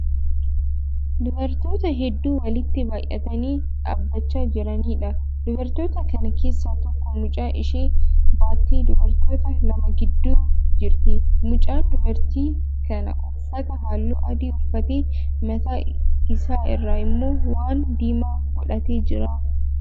Dubartoota hedduu walitti baayyatanii dhaabbachaa jiraniidha. Dubartoota kana keessaa tokko mucaa ishee baattee dubartoota lama gidduu jirti. Mucaan dubartii kanaa uffata halluu adii uffatee mataa isaa irra immoo waan diimaa godhatee jira.